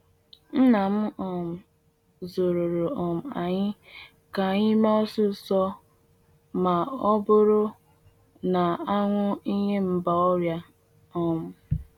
Nna m um zụruru um anyị ka anyị mee osisor ma ọ bụrụ na a hụ ihe mgba ọrịa. um